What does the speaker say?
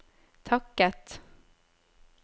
takket